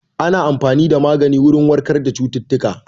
Ana amfani da magani wurin warkar da cututtuka